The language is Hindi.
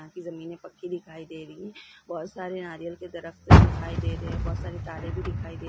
यहां की जमीनें पक्की दिखाई दे रही है बहुत सारे नारियल के दरख़्त दिखाई दे रहे है बहुत सारी तारे भी दिखाई दे।